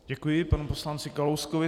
Děkuji panu poslanci Kalouskovi.